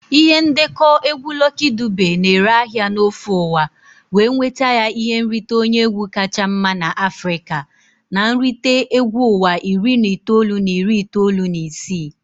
Ihe ndekọ egwu Lucky Dube na-ere ahịa n'ofe ụwa wee nweta ya ihe nrite onye egwu kacha mma n'Africa na nrite egwu ụwa iri na itoolu na iri itoolu na isii.